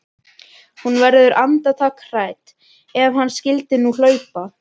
Hún verður andartak hrædd: Ef hann skyldi nú hlaupa.